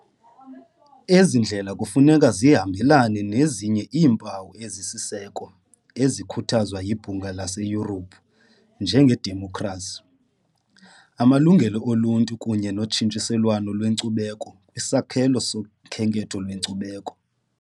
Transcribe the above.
Ezi ndlela kufuneka zihambelane nezinye iimpawu ezisisiseko ezikhuthazwa yiBhunga laseYurophu njengedemokhrasi, amalungelo oluntu kunye notshintshiselwano lwenkcubeko kwisakhelo sokhenketho lwenkcubeko.